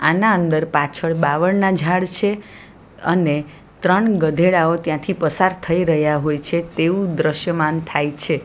આના અંદર પાછળ બાવળના ઝાડ છે અને ત્રણ ગધેડાઓ ત્યાંથી પસાર થઈ રહ્યા હોય છે તેવું દ્રશ્યમાન થાય છે.